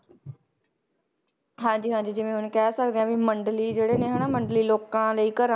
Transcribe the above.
ਹਾਂਜੀ ਹਾਂਜੀ ਜਿਵੇਂ ਹੁਣ ਕਹਿ ਸਕਦੇ ਹਾਂ ਵੀ ਮੰਡਲੀ ਜਿਹੜੇ ਨੇ ਹਨਾ ਮੰਡਲੀ ਲੋਕਾਂ ਲਈ ਘਰਾਂ